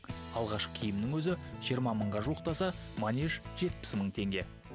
алғашқы киімнің өзі жиырма мыңға жуықтаса манеж жетпіс мың теңге